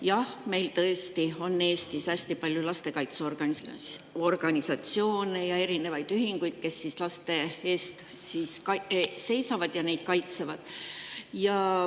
Jah, meil on Eestis tõesti hästi palju lastekaitseorganisatsioone ja erinevaid ühinguid, kes laste eest seisavad ja neid kaitsevad.